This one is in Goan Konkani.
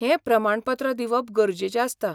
हें प्रमाणपत्र दिवप गरजेचें आसता.